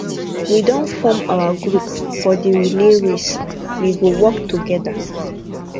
we don form our group for di relay race we go work togeda